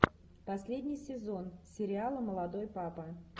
последний сезон сериала молодой папа